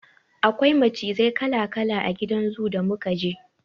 Akwai macizai kala-kala a gidan zoo da muka je.